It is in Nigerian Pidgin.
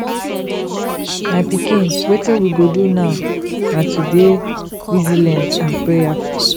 my pikin wetin we go do now na to dey resilient and prayerful